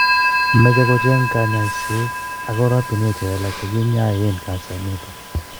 Moche kocheng konyoiset ak oratunwek che lelach che kinyoen kansa initok